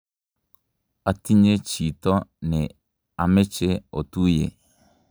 atinye chito ne ameche otuye